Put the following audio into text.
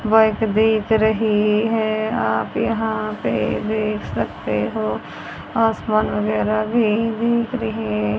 बस दिख रही है आप यहां पे देख सकते हो आसमान वगैरह भी दिख रहे--